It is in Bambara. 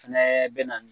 Fɛnɛ bɛ na ni